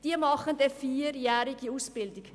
Diese machen eine vierjährige Ausbildung.